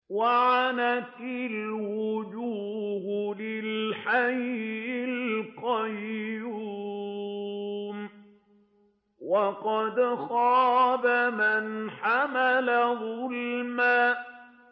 ۞ وَعَنَتِ الْوُجُوهُ لِلْحَيِّ الْقَيُّومِ ۖ وَقَدْ خَابَ مَنْ حَمَلَ ظُلْمًا